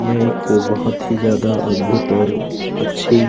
यह एक बहुत ही जादा अद्भुत और अच्छी--